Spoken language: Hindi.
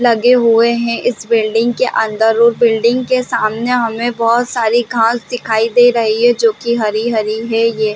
लगे हुए हैं इस बिल्डिंग के अंदर और बिल्डिंग के सामने हमें बहुत सारी घास दिखाई दे रही है जोकि हरी - हरी है ये --.